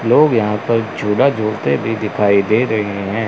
लोग यहां पर झूला झूलते भी दिखाई दे रहे हैं।